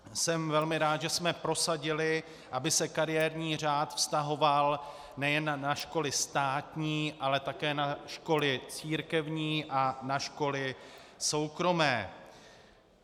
Jsem velmi rád, že jsme prosadili, aby se kariérní řád vztahoval nejen na školy státní, ale také na školy církevní a na školy soukromé.